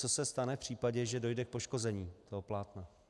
Co se stane v případě, že dojde k poškození toho plátna.